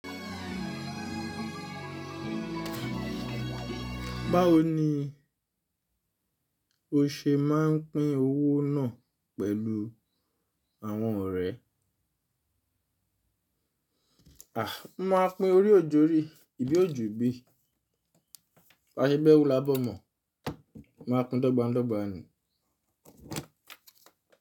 Báwo ni o ṣe máa ń pín owó náà pẹ̀lú àwọn ọ̀rẹ́? À, máa pín orí òjòrí, ibí òjù ibí. Baṣẹ bẹ́rú lábọmọ̀, mo màá pín dọ́gba dọ́gba ni.